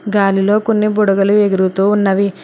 గాలిలో కొన్ని బుడగలు ఎగురుతూ ఉన్నవి.